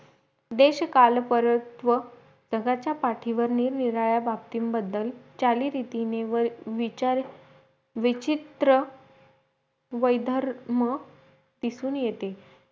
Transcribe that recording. देशकाल परत्व जगाचा पाठीवर नीर निराळ्या बाबतींबदल चालीरितीने विचार विचित्र वैधर्म दिसून येते